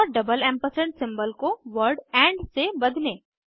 और double ampersand symbol को word and से बदलें